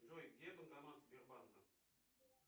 джой где банкомат сбербанка